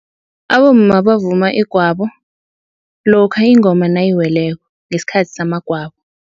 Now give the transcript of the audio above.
Abomma bavuma igwabo lokha ingoma nayiweleko ngesikhathi samagwabo.